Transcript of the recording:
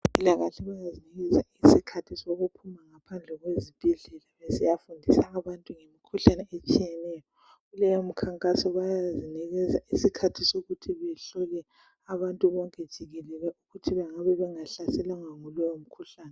Abezempilakahle bayazinikeza isikhathi sokuphuma ngaphandle kwezibhedlela besiyafundisa abantu ngemikhuhlane etshiyeneyo. Kuleyo mikhankaso bayazinikeza isikhathi sokuthi behlole abantu bonke jikelele ukuthi bengabe bengahlaselwangwa yilowo mkhuhlane.